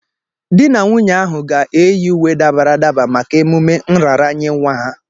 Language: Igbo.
Di na nwunye ahụ ga-eyi uwe dabara adaba maka emume nraranye nwa ha.